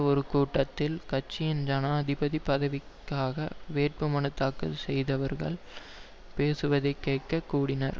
ஒரு கூட்டத்தில் கட்சியின் ஜனாதிபதி பதவிக்காக வேட்பு மனு தாக்கல் செய்தவர்கள் பேசுவதை கேட்க கூடினர்